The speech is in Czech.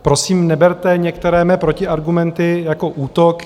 Prosím, neberte některé mé protiargumenty jako útok.